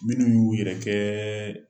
Minnu y'u yɛrɛ kɛ